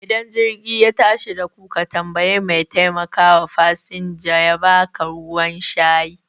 Ida jirgi ya tashi daku ka tambayi mai taimakawa fasanja yaba ka ruwan shayi